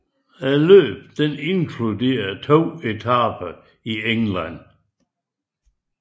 Løbet inkluderede to etaper i England